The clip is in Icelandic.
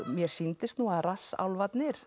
mér sýndist nú að